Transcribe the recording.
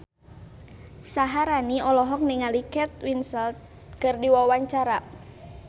Syaharani olohok ningali Kate Winslet keur diwawancara